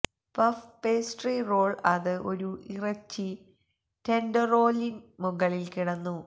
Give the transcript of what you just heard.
puff pastry roll അത് ഒരു ഇറച്ചി ടെൻഡറോലിൻ മുകളിൽ കിടന്നു